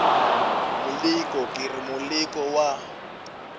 moleko ke re moleko wa